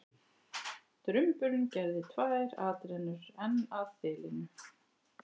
Drumburinn gerði tvær atrennur enn að þilinu.